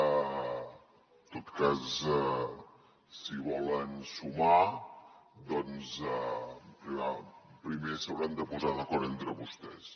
en tot cas si volen sumar doncs primer s’hauran de posar d’acord entre vostès